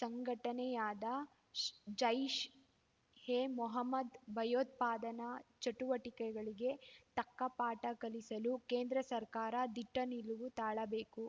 ಸಂಘಟನೆಯಾದ ಜೈಷ್‌ ಎ ಮೊಹಮ್ಮದ್‌ ಭಯೋತ್ಪಾದನಾ ಚಟುವಟಿಕೆಗಳಿಗೆ ತಕ್ಕ ಪಾಠ ಕಲಿಸಲು ಕೇಂದ್ರ ಸರ್ಕಾರ ದಿಟ್ಟನಿಲುವು ತಾಳಬೇಕು